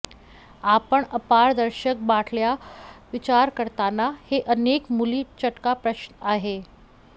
आपण अपारदर्शक बाटल्या विचार करताना हे अनेक मुली चटका प्रश्न आहे